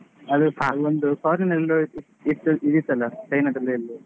ಅದು ಒಂದು foreign ಅಲ್ಲಿ ನೋಡಿದ್ದು ಇದಿತ್ತಲ್ಲಾ China ದಲ್ಲಿ ಎಲ್ಲೋ.